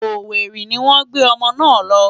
Owerri ni wọ́n gbé ọmọ náà lọ.